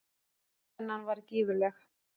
Spennan var gífurleg.